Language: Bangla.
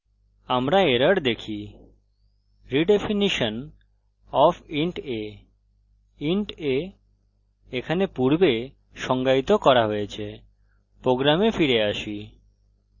আমরা errors দেখি redefinition of int a int a এখানে পূর্বে সংজ্ঞায়িত করা হয়েছে program ফিরে আসি